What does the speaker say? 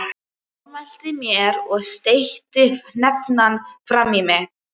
Hann formælti mér og steytti hnefann framan í mig.